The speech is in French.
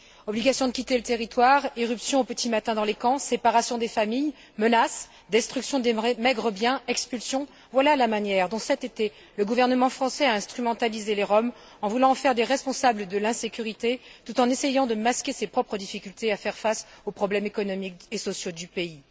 Obligation de quitter le territoire, irruption au petit matin dans les camps, séparation des familles, menaces, destruction des maigres biens, expulsions, voilà la manière dont cet été le gouvernement français a instrumentalisé les Roms en voulant en faire des responsables de l'insécurité tout en essayant de masquer ses propres difficultés à faire face aux problèmes économiques et sociaux du pays.